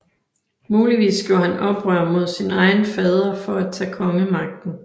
Muligvis gjorde han oprør mod sin egen fader for at tage kongemagten